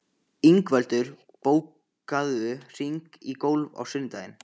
Ingveldur, bókaðu hring í golf á sunnudaginn.